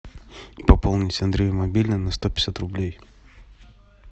пополнить андрею мобильный на сто пятьдесят рублей